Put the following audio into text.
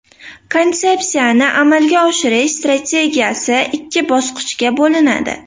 Konsepsiyani amalga oshirish strategiyasi ikki bosqichga bo‘linadi.